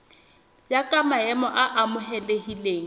ya ka maemo a amohelehileng